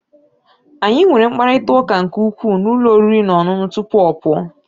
anyị nwere mkparịta ụka nke ukwuu na ụlọ oriri na ọṅụṅụ tupu ọ pụọ